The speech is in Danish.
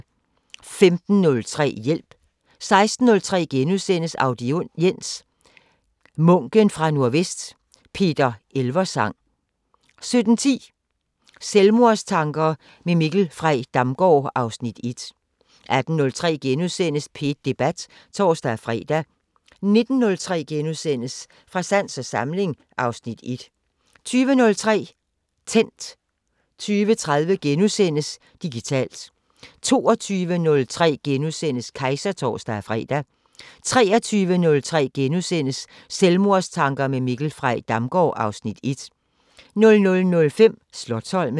15:03: Hjælp 16:03: Audiens: Munken fra Nordvest – Peter Elversang * 17:10: Selvmordstanker med Mikkel Frey Damgaard (Afs. 1) 18:03: P1 Debat *(tor-fre) 19:03: Fra sans og samling (Afs. 1)* 20:03: Tændt 20:30: Digitalt * 22:03: Kejser *(tor-fre) 23:03: Selvmordstanker med Mikkel Frey Damgaard (Afs. 1)* 00:05: Slotsholmen